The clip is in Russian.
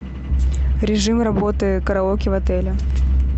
режим работы караоке в отеле